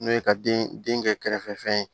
N'o ye ka den kɛ kɛrɛfɛ fɛn ye